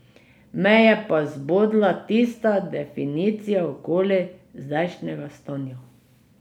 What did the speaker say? Me je pa zbodla tista definicija okoli zdajšnjega stanja.